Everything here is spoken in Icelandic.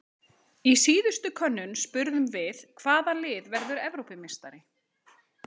Í síðustu könnun spurðum við- Hvaða lið verður Evrópumeistari?